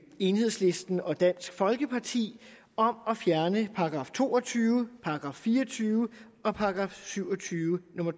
enhedslisten og dansk folkeparti om at fjerne § to og tyve § fire og tyve og § syv og tyve nummer